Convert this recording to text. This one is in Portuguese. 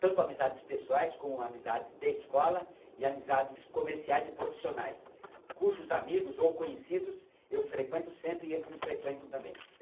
tanto amizades pessoais, como amizades de escola e amizades comerciais e profissionais, cujos amigos ou conhecidos eu frequento sempre e eles me frequentam também.